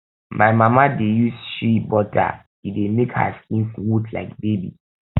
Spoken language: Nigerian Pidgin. my mama dey use shea butter e dey make her skin smooth like baby